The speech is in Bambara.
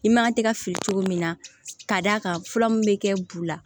I man kan tɛ ka fili cogo min na ka d'a kan fura min bɛ kɛ bu la